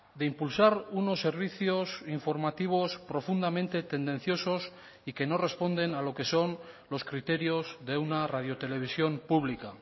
de impulsar unos servicios informativos profundamente tendenciosos y que no responden a lo que son los criterios de una radio televisión pública